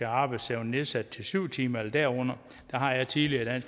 arbejdsevnen nedsat til syv timer eller derunder der har jeg tidligere været